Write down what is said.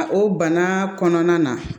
O bana kɔnɔna na